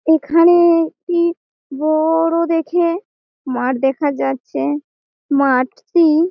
এখানে-এ একটি ব-ও-ড়-ও দেখে মাঠ দেখা যাচ্ছে। মাঠটি--